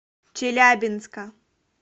челябинска